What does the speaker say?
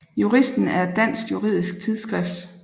Juristen er et dansk juridisk tidsskrift